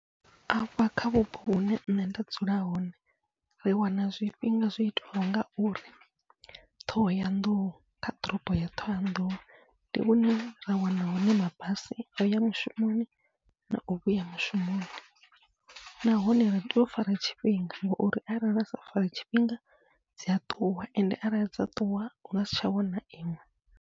Afha kha vhupo hune nṋe nda dzula hone ri wana zwifhinga zwo itiwa ngauri Ṱhohoyanḓou kha ḓorobo ya Ṱhohoyanḓou, ndi hune ra wana hone mabasi o uya mushumoni nau vhuya mushumoni, nahone ri tea u fara tshifhinga ngauri arali ra sa fara tshifhinga dzia ṱuwa ende arali dza ṱuwa hu ngasi tsha wana iṅwe.